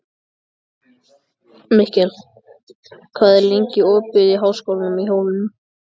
Mikkel, hvað er lengi opið í Háskólanum á Hólum?